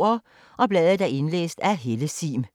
Indlæst af: